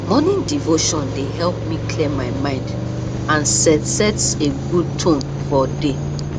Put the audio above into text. morning devotion dey help me clear my mind and set set a good tone for day